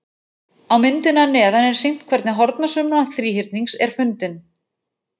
Á myndinni að neðan er sýnt hvernig hornasumma þríhyrnings er fundin.